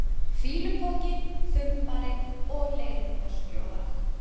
fýlupoki, þumbari og leiðindaskjóða?